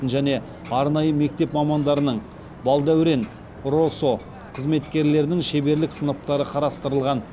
және арнайы мектеп мамандарының балдәурен росо қызметкерлерінің шеберлік сыныптары қарастырылған